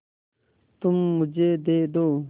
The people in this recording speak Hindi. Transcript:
तुम मुझे दे दो